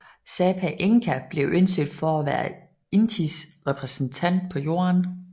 Sapa Inka blev anset for at være Intis repræsentant på Jorden